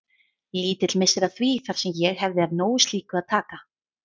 Lítill missir að því þar sem ég hefði af nógu slíku að taka.